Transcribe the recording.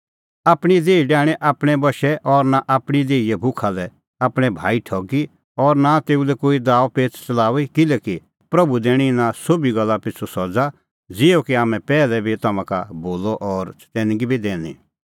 आपणीं देही डाहणीं आपणैं बशै और नां आपणीं देहीए भुखा लै आपणैं भाई ठगी और नां तेऊ लै कोई दाअपेच़ च़लाऊई किल्हैकि प्रभू दैणीं इना सोभी गल्ला पिछ़ू सज़ा ज़िहअ कि हाम्हैं पैहलै बी तम्हां का बोलअ और चतैनगी बी दैनी